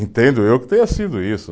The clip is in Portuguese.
Entendo eu que tenha sido isso.